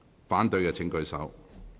反對的請舉手。